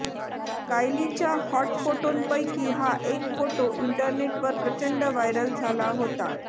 कायलीच्या hot फोटोंपैकी हा एक फोटो इंटरनेटवर प्रचंड व्हायरल झाला होता